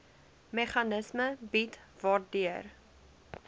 meganisme bied waardeur